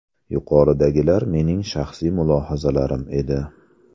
Yuqoridagilar mening shaxsiy mulohazalarim edi.